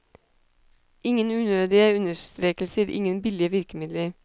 Ingen unødige understrekelser, ingen billige virkemidler.